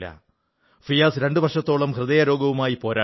ഫിയാസ് രണ്ട് വർഷത്തോളം ഹൃദയരോഗവുമായി പോരാടി